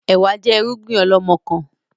Ẹ̀wá jẹ́ irúgbìn ọlọmọkan